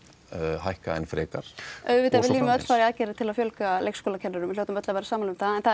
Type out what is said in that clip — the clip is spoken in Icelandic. hækka enn frekar auðvitað viljum við öll fara í aðgerðir til að fjölga leikskólakennurum við hljótum öll að vera sammála um það en það